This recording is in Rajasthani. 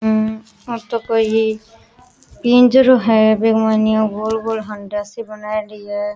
हम्म आ तो कोई पिंजरों है बि के माइन इया गोल गोल हाडिया सी बनायेडी है।